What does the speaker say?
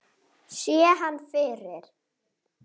Sé hann yfir